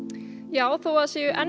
já þó það sé enn